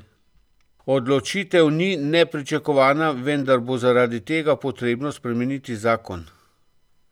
Odločitev ni nepričakovana, vendar bo zaradi tega potrebno spremeniti zakon.